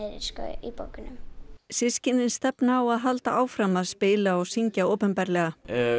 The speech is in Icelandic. í bókunum systkinin stefna á að halda áfram að spila og syngja opinberlega